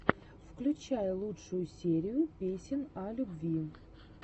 включай лучшую серию песен о любви